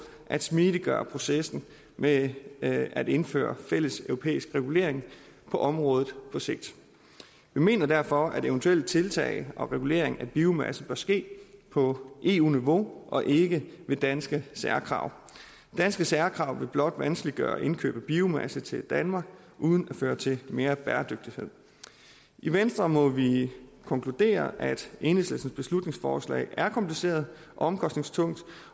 at smidiggøre processen med at at indføre fælleseuropæisk regulering på området på sigt vi mener derfor at eventuelle tiltag og regulering af biomasse bør ske på eu niveau og ikke ved danske særkrav danske særkrav til blot vanskeliggøre indkøb af biomasse til danmark uden at føre til mere bæredygtighed i venstre må vi konkludere at enhedslistens beslutningsforslag er kompliceret og omkostningstungt